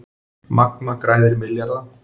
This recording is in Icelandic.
Magma græðir milljarða